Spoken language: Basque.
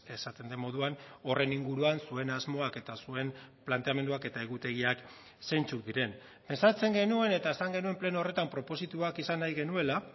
esaten den moduan horren inguruan zuen asmoak eta zuen planteamenduak eta egutegiak zeintzuk diren ezartzen genuen eta esan genuen pleno horretan propositoak izan nahi genuela